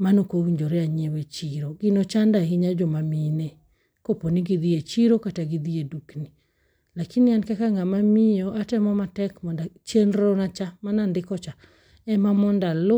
manokowinjore anyiew e chiro. Gino chando ahinyo jomamine koponi gidhi e chiro kata gidhi e dukni. Lakini an kaka ng'ama miyo atemo matek mondo chenro na cha manandiko cha ema mondo alu.